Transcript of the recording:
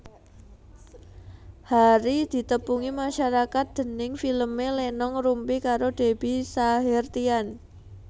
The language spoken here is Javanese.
Harry ditepungi masarakat déning filmé Lenong Rumpi karo Debby Sahertian